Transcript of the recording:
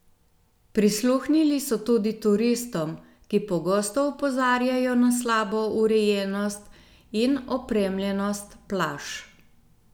Prisluhnili so tudi turistom, ki pogosto opozarjajo na slabo urejenost in opremljenost plaž.